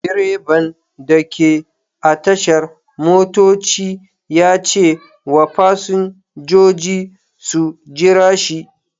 Direban da ke a tashar motoci ya ce wa fasinjoji su jira shi.